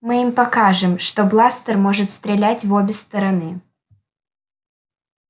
мы им покажем что бластер может стрелять в обе стороны